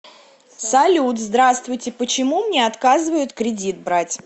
салют здравствуйте почему мне октазывают кредит брать